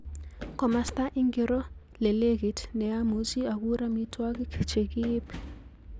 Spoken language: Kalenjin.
Komasta ingiro lelekit neamuchi akur amitwogik chekiib